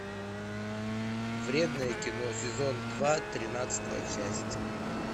вредное кино сезон два тринадцатая часть